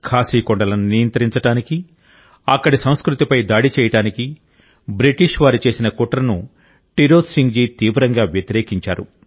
ఖాసీ కొండలను నియంత్రించడానికి అక్కడి సంస్కృతిపై దాడి చేయడానికి బ్రిటిష్ వారు చేసిన కుట్రను టిరోత్ సింగ్ జీ తీవ్రంగా వ్యతిరేకించారు